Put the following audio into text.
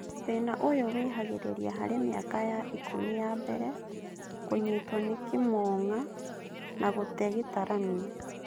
Thĩna ũyũ wĩhagĩrĩria harĩ mĩaka ya ikũmi ya mbere, kũnyitwo nĩ kĩmũng'a, na gũte gĩtaranio